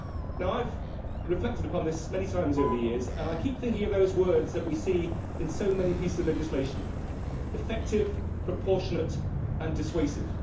Now, I have reflected upon this many times over the years, and I keep thinking of those words which we see in so many pieces of legislation effective, proportionate and dissuasive.